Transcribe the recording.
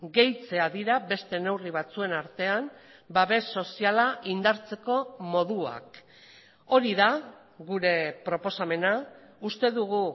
gehitzea dira beste neurri batzuen artean babes soziala indartzeko moduak hori da gure proposamena uste dugu